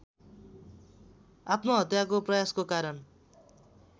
आत्महत्याको प्रयासको कारण